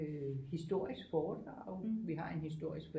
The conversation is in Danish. Historisk foredrag vi har en historisk